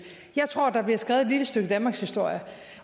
jeg tror der bliver skrevet et lille stykke danmarkshistorie